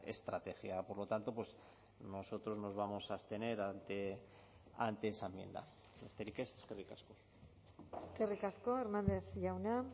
estrategia por lo tanto nosotros nos vamos a abstener ante esa enmienda besterik ez eskerrik asko eskerrik asko hernández jauna